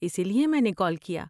اسی لیے میں نے کال کیا۔